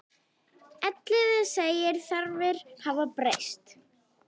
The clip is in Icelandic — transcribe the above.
Elliði segir þarfir hafa breyst.